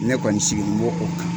Ne kɔni sigini bo o kan.